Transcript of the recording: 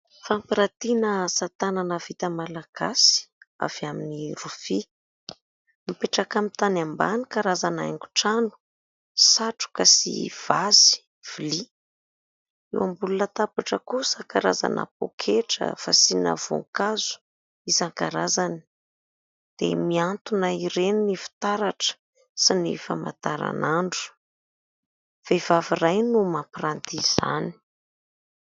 Fampirantina asa tanana vita malagasy avy amin'ny rofia. Mipetraka amin'ny tany ambany karazana haingo trano, satroka sy vazy vilia. Eo ambony latabatra kosa karazana pôketra, fasiana voankazo isan-karazany, dia mihantona ireny ny fitaratra, sy ny famataranandro. Vehivavy iray no mampiranty izany.